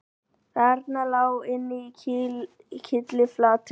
Þarna lá hann kylliflatur